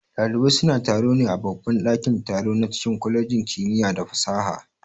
Ɗalibai suna taro ne a babban ɗakin-taro na cikin kwalejin kimiya da fasaha.